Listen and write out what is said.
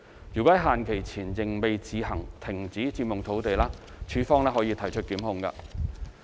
若於限期前仍未自行停止佔用土地，署方可提出檢控。